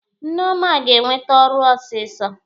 Nneoma ga-enwete ọrụ ọsịsọ.